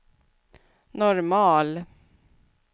normal